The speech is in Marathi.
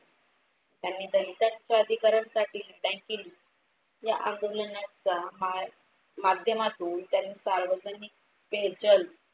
त्यांनी दलितांच्या अधिकारांसाठी केली. या आगमनाच्या माध्यमातून त्यांनी सार्वजनिक चल